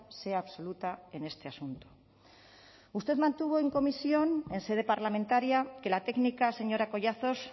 sea absoluta en este asunto usted mantuvo en comisión en sede parlamentaria que la técnica señora collazos